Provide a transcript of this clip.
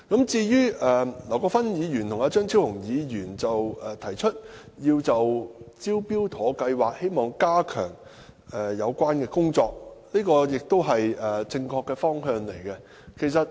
至於劉國勳議員及張超雄議員提出加強"招標妥"計劃的有關工作，這亦是正確的方向。